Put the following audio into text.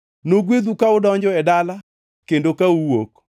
Nogwedhu ka udonjo e dala kendo ka uwuok.